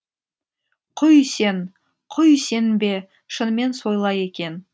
құй сен құй сенбе шынымен солай екен